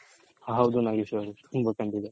ಹೌದು ನಾಗೇಶ್ ಅವ್ರೆ ತುಂಬಾ ಖಂಡಿತ.